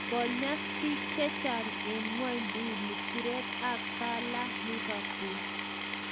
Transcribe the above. Konyas pik chechang en ngwonduni siret ap salah e Liverpool.